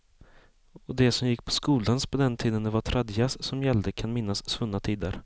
Och de som gick på skoldans på den tiden det var tradjazz som gällde kan minnas svunna tider.